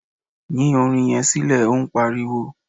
Yín orin yẹn sílẹ̀ óún pariwo!